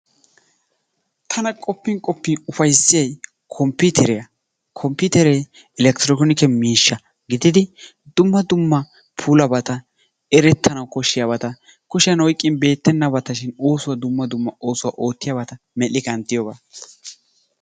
Tana qopin qopin ufayssiyay kompiteriya, kompiteree eleketronike miishsha gididi dumma dumma puulabata, eretanawu koshshiyabatashin kushiyaan oyqqin beettenabatashin oosuwaa dumma dumma ooratabata mel''i kanttiyooga.